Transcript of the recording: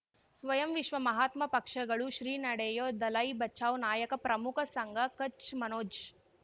ಸ್ವಯಂ ವಿಶ್ವ ಮಹಾತ್ಮ ಪಕ್ಷಗಳು ಶ್ರೀ ನಡೆಯೂ ದಲೈ ಬಚೌ ನಾಯಕ ಪ್ರಮುಖ ಸಂಘ ಕಚ್ ಮನೋಜ್